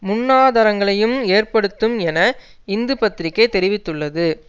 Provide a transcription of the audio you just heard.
முன்னாதரங்களையும் ஏற்படுத்தும் என இந்து பத்திரிகை தெரிவித்துள்ளது